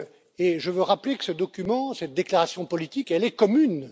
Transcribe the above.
Et je veux rappeler que ce document, cette déclaration politique, est commune.